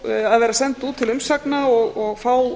verða send út til umsagna og fá